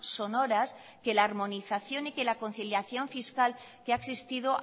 sonoras que la harmonización y que la conciliación fiscal que ha existido